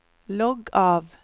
logg av